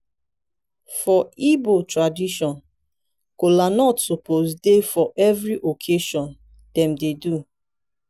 for igbo tradition kolanut suppose dey for every occassion dem dey do.